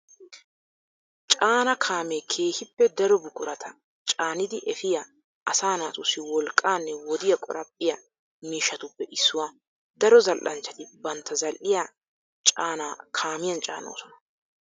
Caana kaamee keehippe daro buqurata caanidi efiya, asaa naatussi wolqqaanne wodiya qoraphphiya miishshatuppe issuwaa. Daro zal'anchchati bantta zal'iyaa caana kaamiyan caanoosona.